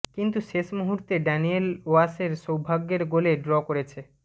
কিন্তু শেষ মুহূর্তে ড্যানিয়েল ওয়াসের সৌভাগ্যের গোলে ড্র করেছে